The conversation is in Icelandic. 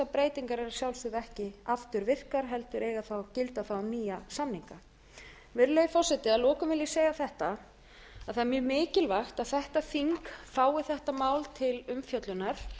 breytingar eru að sjálfsögðu ekki afturvirkar heldur eiga þá að gilda þá um nýja samninga virðulegi forseti að lokum vil ég segja þetta það er mjög mikilvægt að þetta þing fái þetta mál til umfjöllunar